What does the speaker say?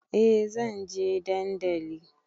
Eh zanje dandali